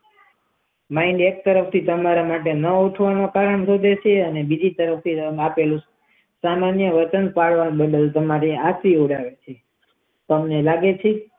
ના જાગવું હોય તો વચન કેમ આપોછો તમે તમે વચન બદલો છો તમને લાગે છે.